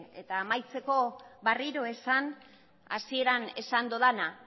amaitzeko berriro esan hasieran esan dudana